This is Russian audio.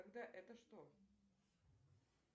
тогда это что